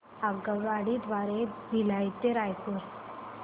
आगगाडी द्वारे भिलाई ते रायपुर